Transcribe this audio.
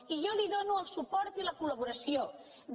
i jo li dono el suport i la col·laboració de